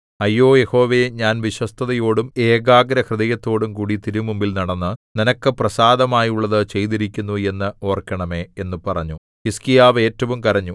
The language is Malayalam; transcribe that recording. അയ്യോ യഹോവേ ഞാൻ വിശ്വസ്തതയോടും ഏകാഗ്രഹൃദയത്തോടും കൂടി തിരുമുമ്പിൽ നടന്നു നിനക്ക് പ്രസാദമായുള്ളതു ചെയ്തിരിക്കുന്നു എന്ന് ഓർക്കണമേ എന്നു പറഞ്ഞു ഹിസ്കീയാവ് ഏറ്റവും കരഞ്ഞു